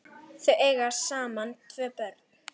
Þau eiga saman tvö börn.